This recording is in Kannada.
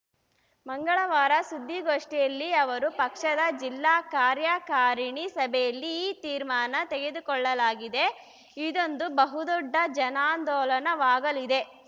ಮಂಗಳವಾರ ಸುದ್ದಿಗೋಷ್ಠಿಯಲ್ಲಿ ಅವರು ಪಕ್ಷದ ಜಿಲ್ಲಾ ಕಾರ್ಯಕಾರಿಣಿ ಸಭೆಯಲ್ಲಿ ಈ ತೀರ್ಮಾನ ತೆಗೆದುಕೊಳ್ಳಲಾಗಿದೆ ಇದೊಂದು ಬಹುದೊಡ್ಡ ಜನಾಂದೋಲನವಾಗಲಿದೆ